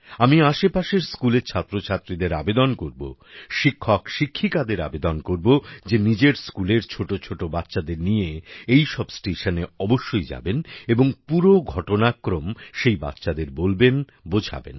আমি আশেপাশের স্কুলের ছাত্রছাত্রীদের আবেদন করব শিক্ষকশিক্ষিকাদের আবেদন করব যে নিজের স্কুলের ছোট ছোট বাচ্চাদের নিয়ে এই সব স্টেশনে অবশ্যই যাবেন এবং পুরো ঘটনাক্রম সেই বাচ্চাদের বলবেন বোঝাবেন